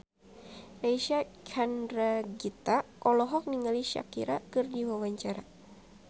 Reysa Chandragitta olohok ningali Shakira keur diwawancara